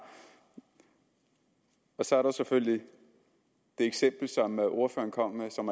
så er der selvfølgelig det eksempel som ordføreren kommer med og som